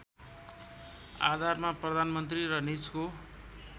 आधारमा प्रधानमन्त्री र निजको